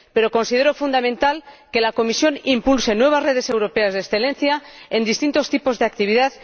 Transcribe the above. Pero considero fundamental que la Comisión impulse nuevas redes europeas de excelencia en distintos tipos de actividad